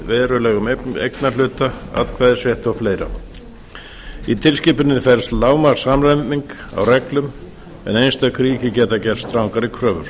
verulegum eignarhluta atkvæðisrétti og fleira í tilskipuninni felst lágmarkssamræming á reglum en einstök ríki geta gert strangari kröfur